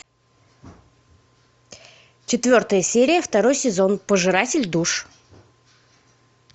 четвертая серия второй сезон пожиратель душ